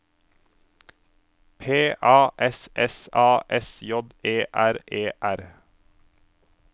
P A S S A S J E R E R